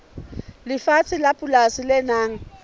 lefatshe la polasi le nang